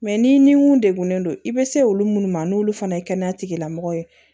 n'i ni mun degunnen don i bɛ se olu minnu ma n'olu fana ye kɛnɛya tigilamɔgɔ ye